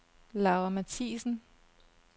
Laura Mathiesen